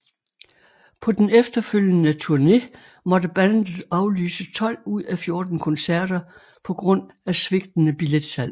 På den efterfølgende turné måtte bandet aflyse 12 ud af 14 koncerter på grund af svigtende billetsalg